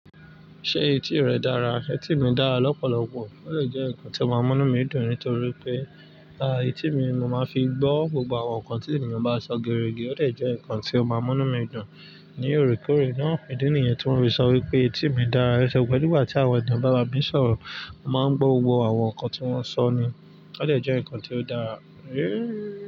Ṣé etí rẹ dára? Etí mi dára lọ́pọ̀lọpọ̀. Ó dè jẹ́ nǹkan tí ó máa ń múnú mi dùn nítorí pé, etí mi mo máa ń fi gbọ́ gbogbo àwọn nǹkan tí ènìyàn bá sọ geerege, ó dè jẹ́ nǹkan tí ó máa múnú mi dùn. Ní òrékòóré náà, ìdí níyen tí wón fi so ipé tí èmi dá ẹ́se o pẹ̀lú ìgbà tí àwọn ẹ̀dà bà n bá mi sọ̀rọ̀, mo máa ń gbọ́ gbogbo àwọn nǹkan tí wọ́n sọ ni. Ó lè jẹ́ nǹkan tí ó dára.